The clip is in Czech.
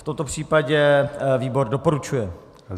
V tomto případě výbor doporučuje.